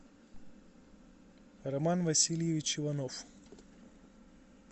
роман васильевич иванов